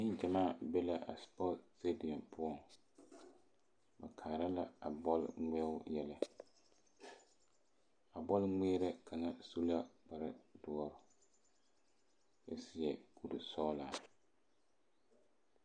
Neŋgyamaa be la a sepɔn sediou poɔŋ ba kaara la a bɔl ŋmeɛŋ yɛlɛ a bɔl kpɛerɛ kaŋ su la kpare doɔ kyɛ seɛ kuri sɔgelaa